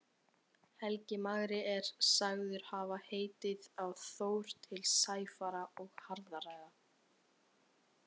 Helgi magri er sagður hafa heitið á Þór til sæfara og harðræða.